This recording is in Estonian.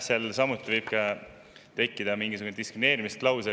Seal võib tekkida ka mingisugune diskrimineerimise klausel.